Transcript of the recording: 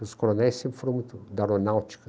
Os coronéis sempre foram muito da aeronáutica.